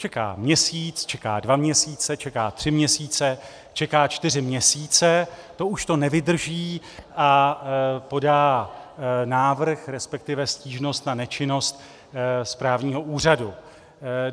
Čeká měsíc, čeká dva měsíce, čeká tři měsíce, čeká čtyři měsíce, to už to nevydrží a podá návrh, respektive stížnost na nečinnost správního úřadu.